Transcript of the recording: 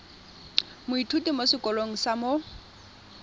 moithuti mo sekolong sa mo